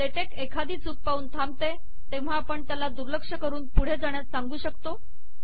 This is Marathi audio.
लेटेक एखादी चूक पाहून थांबते तेव्हा आपण त्याला दुर्लक्ष करून पुढे जाण्यास सांगू शकतो